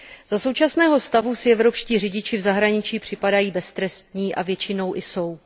Za současného stavu si evropští řidiči v zahraniční připadají beztrestní a většinou i jsou.